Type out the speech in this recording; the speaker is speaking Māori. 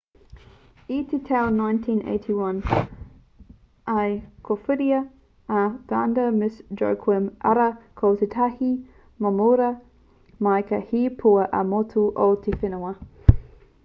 i te tau 1981 i kōwhiritia a vanda miss joaquim arā ko tētahi momorua māika hei pua ā-motu o te whenua